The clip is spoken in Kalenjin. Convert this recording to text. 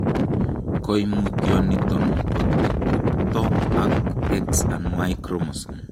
Koimutioniton kotupto ak X and Y chromosomes